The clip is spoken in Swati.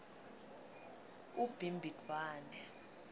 ubhimbidvwane